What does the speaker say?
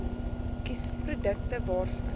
kies produkte waarvan